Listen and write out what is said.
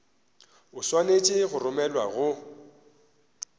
o swanetše go romelwa go